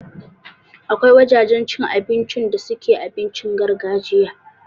Akwai wajajen cin abinci da suke abincin gargajiya